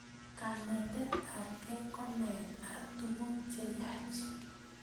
kanetet apkei ko naet ap tukuk cheyach